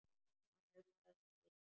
Hann hugsaði um Elísu.